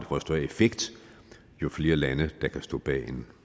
får større effekt jo flere lande der kan stå bag en